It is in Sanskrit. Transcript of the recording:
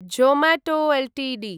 Zomato Ltd